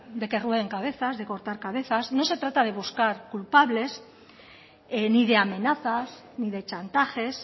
de que rueden cabezas de cortar cabezas no se trata de buscar culpables ni de amenazas ni de chantajes